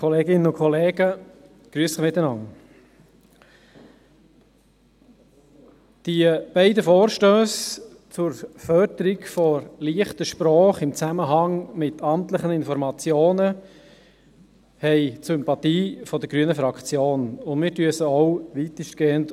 Die beiden Vorstösse zur Förderung der «leichten Sprache» im Zusammenhang mit amtlichen Informationen haben die Sympathie der grünen Fraktion, und wir unterstützen diese auch weitestgehend.